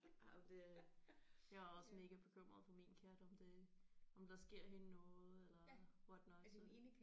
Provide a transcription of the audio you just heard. Ja det jeg er også mega bekymret for min kat om det om der sker hende noget eller whatnot så